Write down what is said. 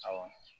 Awɔ